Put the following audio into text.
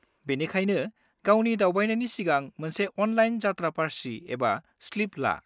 बेनिखायनो, गावनि दावबायनायनि सिगां मोनसे अनलाइन यात्रा पार्ची एबा स्लिप ला।